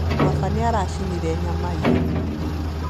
Baba nĩaracinire nyama ira